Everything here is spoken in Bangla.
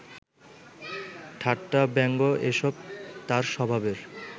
ঠাট্টা, ব্যঙ্গ এসব তাঁর স্বভাবের